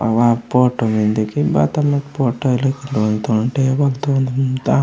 वो अगा फोटो मेन्दे की बाता मेन्दे लोन तगा पोईंता।